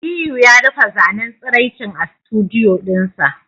Aliyu ya rufe zanen tsiraicin a studdioo dinsa